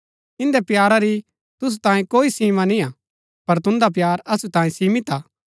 इन्दै प्यारा री तुसु तांयें कोई सीमा निय्आ पर तुन्दा प्‍यार असु तांयें सीमित हा